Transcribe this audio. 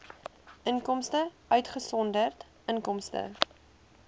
inkomste uitgesonderd inkomste